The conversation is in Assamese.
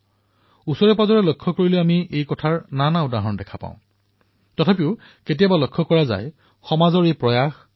আমি ওচৰেপাজৰে লক্ষ্য কৰিলেই এনে বহু উদাহৰণ দেখিবলৈ পাম যত পৰস্পৰৰ প্ৰতি সদ্ভাৱনা বৃদ্ধি কৰাৰ বাবে নিৰন্তৰে কাম চলিবলৈ ধৰিছে